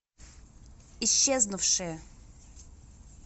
исчезнувшие